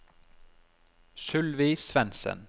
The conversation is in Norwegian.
Sylvi Svensen